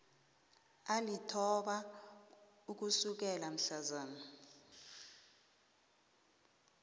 alithoba ukusukela mhlazana